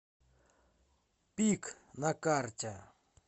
пик на карте